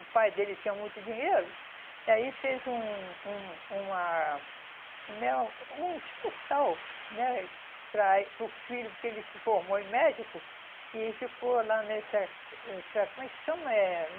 O pai dele tinha muito dinheiro, e aí fez um um uma, como é? Um hospital né, para eh para o filho, porque ele se formou em médico, e ficou lá nessa, essa como é que chama? Eh